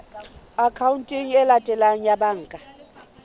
akhaonteng e latelang ya banka